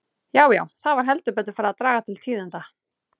Já, já, það var heldur betur farið að draga til tíðinda!